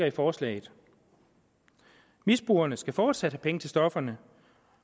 i forslaget misbrugerne skal fortsat penge til stofferne